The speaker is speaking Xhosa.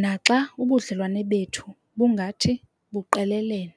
naxa ubudlelwane bethu bungathi buqelelene.